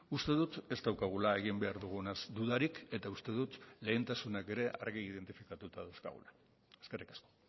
uste dut ez daukagula egin behar dugunaz dudarik eta uste dut lehentasunak ere argi identifikatuta dauzkagula eskerrik asko